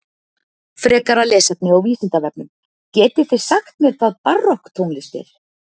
Frekara lesefni á Vísindavefnum Getið þið sagt mér hvað barokktónlist er?